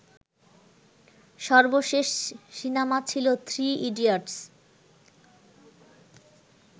সর্বশেষ সিনেমা ছিলো থ্রি ইডিয়টস